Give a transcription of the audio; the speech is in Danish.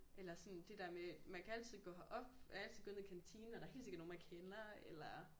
Eller sådan det der men man kan altid gå herop man kan altid gå ned i kantinen og der er helt sikker nogen man kender eller